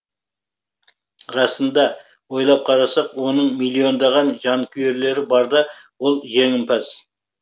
расында ойлап қарасақ оның миллиондаған жанкүйерлері барда ол жеңімпаз